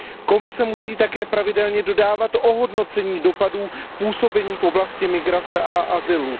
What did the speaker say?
Komise musí také pravidelně dodávat hodnocení dopadů působení v oblasti migrace a azylu.